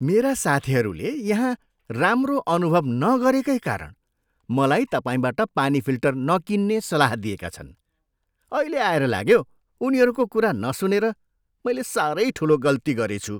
मेरा साथीहरूले यहाँ राम्रो अनुभव नगरेकै कारण मलाई तपाईँबाट पानी फिल्टर नकिन्ने सल्लाह दिएका छन्। अहिले आएर लाग्यो, उनीहरूको कुरा नसुनेर मैले साह्रै ठुलो गल्ती गरेछु।